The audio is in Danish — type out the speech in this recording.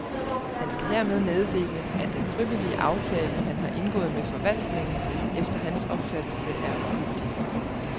Han skal hermed meddele, at den frivillige aftale, han har indgået med forvaltningen, efter hans opfattelse er ugyldig.